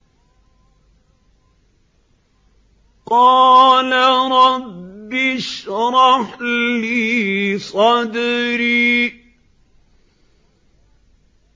قَالَ رَبِّ اشْرَحْ لِي صَدْرِي